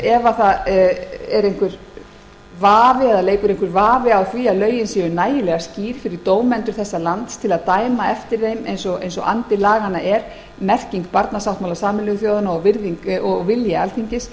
ef vafi leikur á því að lögin séu nægilega skýr fyrir dómara þessa lands til að dæma eftir þeim eins og andi laganna er merking barnasáttmála sameinuðu þjóðanna og virðing og vilji alþingis